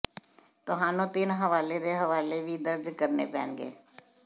ਤੁਹਾਨੂੰ ਤਿੰਨ ਹਵਾਲੇ ਦੇ ਹਵਾਲੇ ਵੀ ਦਰਜ ਕਰਨੇ ਪੈਣਗੇ